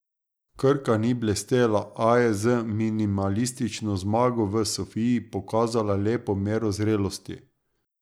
Krka ni blestela, a je z minimalistično zmago v Sofiji pokazala lepo mero zrelosti.